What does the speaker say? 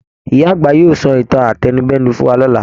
Ìyá àgbà yóò sọ ìtàn átẹnudẹ́nu fún wa lọ̀la.